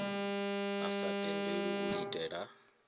a sa tendelwi u itela